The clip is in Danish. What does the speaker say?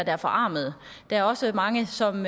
er forarmede og der er også mange som